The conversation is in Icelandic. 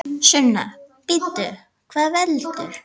Sunna: Bíddu, hvað veldur?